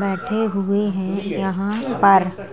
बैठे हुए हैं। यहाँ पर --